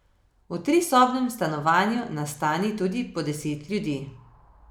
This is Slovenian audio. V trisobnem stanovanju nastani tudi po deset ljudi.